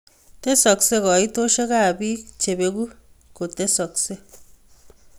Tesoksei koitosiekab bik chebeku kotesoksei